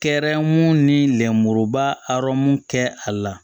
Kɛrɛmu ni lenmuruba arɔmu kɛ a la